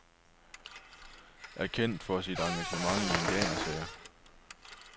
Er kendt for sit engagement i indianersager.